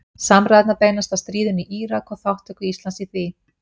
Samræðurnar beinast að stríðinu í Írak og þátttöku Íslands í því.